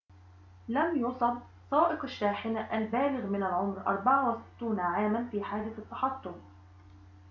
لم يُصب سائق الشاحنة البالغ من العمر 64 عاماً في حادث التحطم